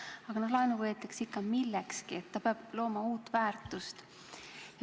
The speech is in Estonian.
Aga laenu võetakse ikka millekski, see peab looma uut väärtust.